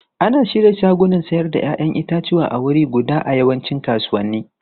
Ana shirya shagunan sayar da 'ya'yan itatuwa a wuri guda a yawancin kasuwanni.